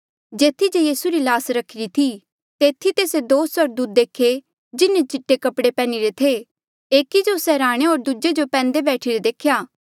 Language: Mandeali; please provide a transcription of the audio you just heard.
जेथी जे यीसू री ल्हास रखिरी थी तेथी तेस्से दो स्वर्गदूत देखे जिन्हें चिट्टे कपड़े पैहनी रे थे एकी जो सरहाणे होर दूजे जो पैंदे बैठिरे देख्या